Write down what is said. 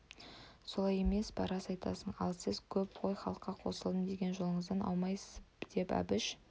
солай емес пе рас айтасың ал сіз ғой көп халыққа қосылдым деген жолыңыздан аумайсыз деп әбіш